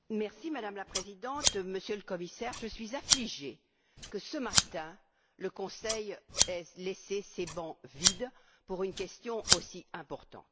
Madame la Présidente, Monsieur le Commissaire, je suis affligée de constater que, ce matin, le Conseil ait laissé ses bancs vides pour une question aussi importante.